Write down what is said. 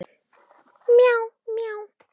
Dönsku Vandræðalegasta augnablik?